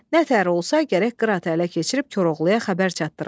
Nətər olsa gərək Qıratı ələ keçirib Koroğluya xəbər çatdıram.